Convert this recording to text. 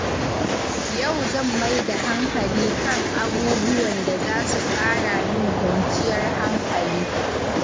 Yau zan mai da hankali kan abubuwan da za su ƙara min kwanciyar hankali.